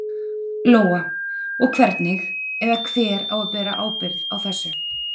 Lóa: Og hvernig, eða hver á að bera ábyrgð á þessu?